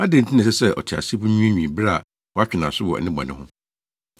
Adɛn nti na ɛsɛ sɛ ɔteasefo nwiinwii bere a wɔatwe nʼaso wɔ ne bɔne ho?